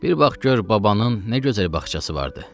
Bir vaxt gör babanın nə gözəl bağçası vardı.